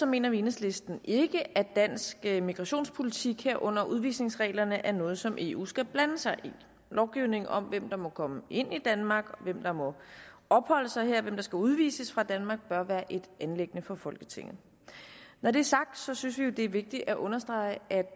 mener vi i enhedslisten ikke at dansk immigrationspolitik herunder udvisningsreglerne er noget som eu skal blande sig i lovgivningen om hvem der må komme ind i danmark hvem der må opholde sig her og hvem der skal udvises fra danmark bør være et anliggende for folketinget når det er sagt synes vi jo det er vigtigt at understrege at